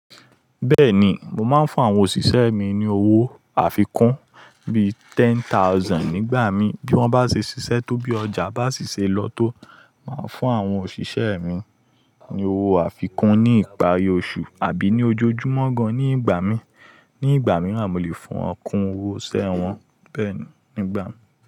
Bẹ́ẹ̀ni, mo máa ń fún àwọn òṣìṣẹ́ mi ní owó àfikún bí i ten thousand nígbà mí. Bí wọ́n bá ṣe ṣiṣẹ́ tó bí ọjà bá sì ṣe lọ tó, màá fún àwọn òṣìṣẹ́ mi ní owó àfikún ní ìparí oṣù àbí ní ojojúmọ́ gan nígbà mí. Ní ìgbà mìíràn, mo lè fún wọn kún owó iṣẹ wọn bẹ́ẹ̀ni nígbà mì.